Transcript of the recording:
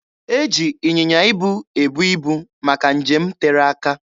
E ji ịnyịnya ibu ebu ibu maka nje m tere aka.